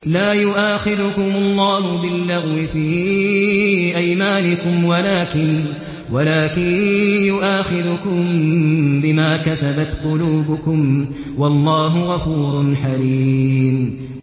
لَّا يُؤَاخِذُكُمُ اللَّهُ بِاللَّغْوِ فِي أَيْمَانِكُمْ وَلَٰكِن يُؤَاخِذُكُم بِمَا كَسَبَتْ قُلُوبُكُمْ ۗ وَاللَّهُ غَفُورٌ حَلِيمٌ